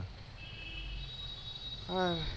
আহ